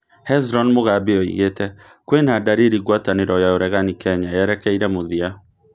Hezron Mogambi oigĩte: kwĩna ndariri ngwatanĩro ya ũregani Kenya yerekeire mũthia